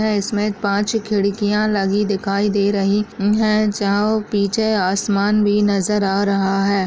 अ इसमे पाँच छ खिड़किया लगी दिखाई दे रही है जहा पीछे आसमान भी नजर आ रहा है।